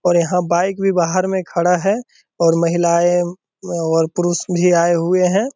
और यहाँ बाइक भी बाहर में खड़ा है और महिलाएं और पुरूष भी आए हुए हैं।